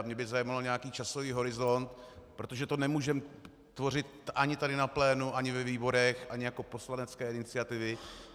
A mě by zajímal nějaký časový horizont - protože to nemůžeme tvořit ani tady na plénu, ani ve výborech, ani jako poslanecké iniciativy.